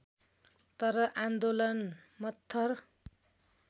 तर आन्दोलन मत्थर